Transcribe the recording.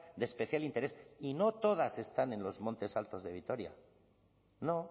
de especial interés y no todas están en los montes altos de vitoria no